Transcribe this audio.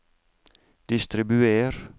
distribuer